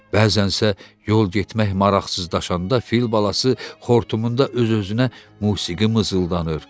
Bəzənsə yol getmək maraqsızlaşanda fil balası xortumunda öz-özünə musiqi mızıldanırdı.